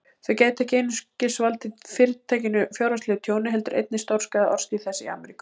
Þau gætu ekki einungis valdið Fyrirtækinu fjárhagslegu tjóni, heldur einnig stórskaðað orðstír þess í Ameríku.